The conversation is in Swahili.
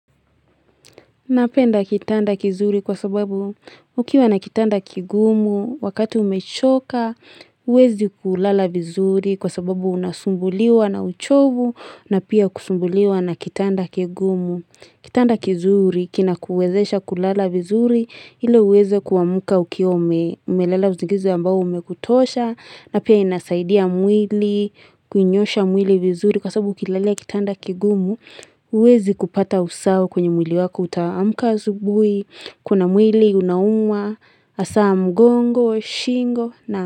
Napenda kitanda kizuri kwa sababu ukiwa na kitanda kigumu wakati umechoka, uwezi kulala vizuri kwa sababu unasumbuliwa na uchovu na pia kusumbuliwa na kitanda kigumu. Kitanda kizuri, kina kuwezesha kulala vizuri, hile uweze kuamuka ukiwaumelela usingizi ambao umekutosha, na pia inasaidia mwili, kunyosha mwili vizuri kwa sabu ukilalea kitanda kigumu, uwezi kupata usawo kwenye mwili wako utaamuka asubui, kuna mwili unauma, asa mgongo, shingo.